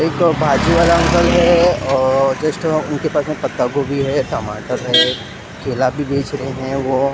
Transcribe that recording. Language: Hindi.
एक भाजी वाला अंकल है और जस्ट उनके पास मे पत्ता गोभी है टमाटर है केला भी बेच रहे हैं वो--